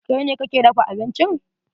Kai ne kake dafa bincin?